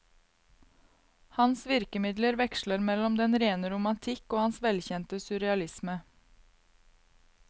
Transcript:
Hans virkemidler veksler mellom den rene romatikk og hans velkjente surrealisme.